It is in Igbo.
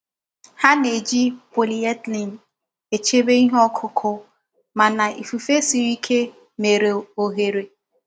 Ha na-eji polyethylene echebe ihe ọkụkụ mana ifufe siri ike mere oghere.